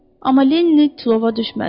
Amma Lenni tilova düşmədi.